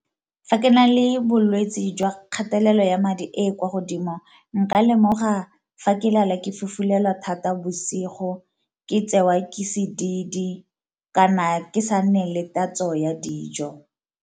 Fa ke na le bolwetsi jwa kgatelelo ya madi e e kwa godimo nka lemoga fa ke lala ke fofulelwa thata bosigo, ke tseiwa ke sedidi, kana ke sa nne le tatso ya dijo.